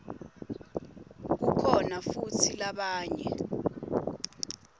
kukhona futsi labanye